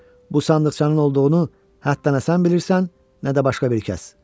Bu sandıqçanın olduğunu nə sən bilirsən, nə də başqa bir kəs.